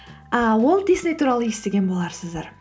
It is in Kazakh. ы уолт дисней туралы естіген боларсыздар